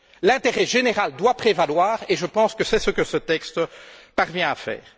L'intérêt général doit prévaloir et je pense que c'est ce que ce texte parvient à faire.